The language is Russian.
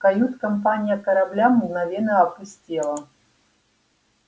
кают-компания корабля мгновенно опустела